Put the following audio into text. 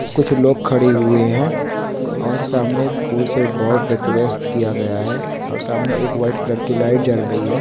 कुछ लोग खड़े हुए हैं और सामने फूल से बोहुत डेकोरेट किया गया है और सामने एक व्हाइट कलर की लाइट जल रही है।